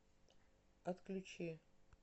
отключи